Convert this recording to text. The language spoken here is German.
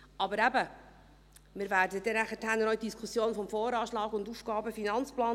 Aber eben: Wir werden dann noch zur Diskussion des VA und des AFP kommen.